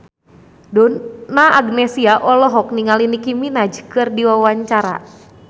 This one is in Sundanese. Donna Agnesia olohok ningali Nicky Minaj keur diwawancara